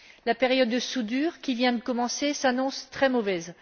La période de soudure, qui vient de commencer, s'annonce très mauvaise.